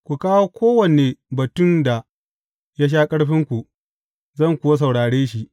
Ku kawo kowane batun da ya sha ƙarfinku, zan kuwa saurare shi.